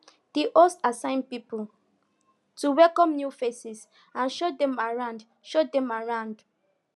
di host assign people to welcome new faces and show dem around show dem around